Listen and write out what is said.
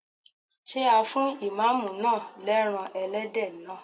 Ṣé a fún Ìmáàmù náà lẹ́ran Ẹlẹ́dẹ̀ naa?